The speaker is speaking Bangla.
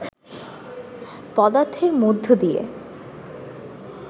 পদার্থের মধ্য দিয়ে